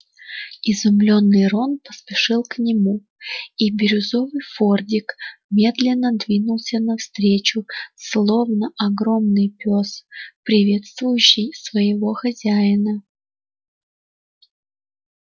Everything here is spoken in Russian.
изумлённый рон поспешил к нему и бирюзовый фордик медленно двинулся навстречу словно огромный пёс приветствующий своего хозяина